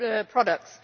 products.